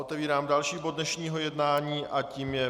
Otevírám další bod dnešního jednání a tím je